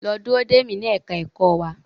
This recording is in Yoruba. Lọ dúró dè mi ní ẹ̀ka ẹ̀kọ́ wa.